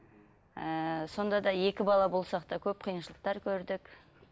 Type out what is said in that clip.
ыыы сонда да екі бала болсақ та көп қиыншылықтар көрдік